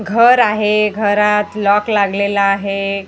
घर आहे घरात लॉक लागलेलं आहे.